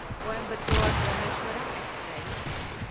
Coimbatore Rameswaram express